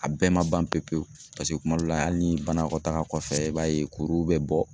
A bɛɛ ma ban pewu pewu paseke kuma dɔ la hali ni banakɔtaa kɔfɛ i b'a ye kuruw bɛ bɔ.